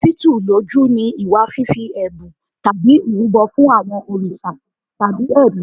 Títù lójú ni ìwà fífi ẹ̀bùn tàbí ìrúbọ fún àwọn òrìṣà tàbí ẹ̀mí.